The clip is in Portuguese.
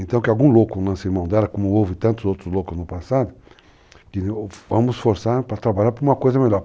Então, que algum louco lance a mão dela, como houve tantos outros loucos no passado, vamos forçar para trabalhar para uma coisa melhor.